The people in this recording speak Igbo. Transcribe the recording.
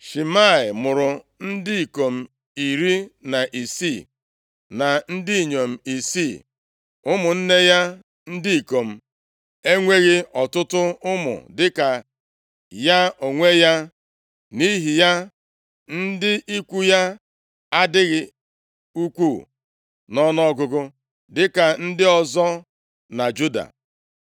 Shimei mụrụ ndị ikom iri na isii, na ndị inyom isii. Ụmụnne ya ndị ikom enweghị ọtụtụ ụmụ dịka ya onwe ya. Nʼihi ya, ndị ikwu ya adịghị ukwu nʼọnụọgụgụ dịka ndị ọzọ na Juda.